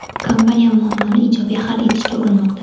Kompaniya muammoni ijobiy hal etishga urinmoqda.